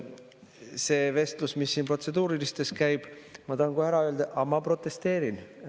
See vestlus, mis siin protseduuriliste raames käib, ma tahan kohe ära öelda: ma protesteerin.